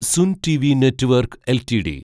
Sun TV network LTD